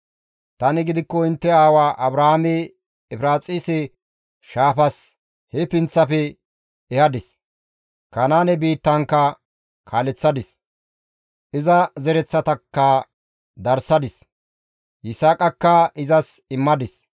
Tani gidikko intte aawa Abrahaame Efiraaxise shaafas he pinththafe ehadis; Kanaane biittankka kaaleththadis. Iza zereththatakka darsadis; Yisaaqakka izas immadis.